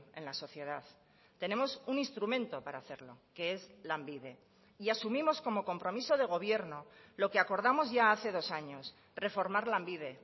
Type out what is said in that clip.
en la sociedad tenemos un instrumento para hacerlo que es lanbide y asumimos como compromiso de gobierno lo que acordamos ya hace dos años reformar lanbide